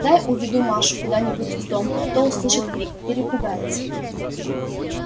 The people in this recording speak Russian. дай уведу машу куда-нибудь из дому а то услышит крик перепугается